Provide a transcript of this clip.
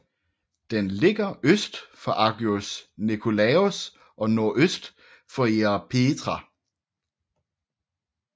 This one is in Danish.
Den ligger øst for Agios Nikolaos og nordøst for Ierapetra